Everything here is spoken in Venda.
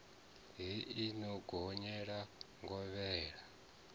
hei i no gonyela ngovhela